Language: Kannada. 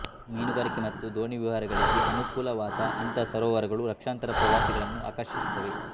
ಮೀನುಗಾರಿಕೆ ಮತ್ತು ದೋಣಿವಿಹಾರಗಳಿಗೆ ಅನುಕೂಲಕರವಾದ ಇಂಥ ಸರೋವರಗಳು ಲಕ್ಷಾಂತರ ಪ್ರವಾಸಿಗಳನ್ನು ಆಕರ್ಷಿಸುತ್ತವೆ